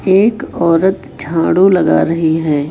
एक औरत झाड़ू लगा रही है।